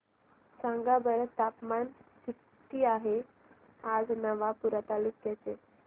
सांगा बरं तापमान किता आहे आज नवापूर तालुक्याचे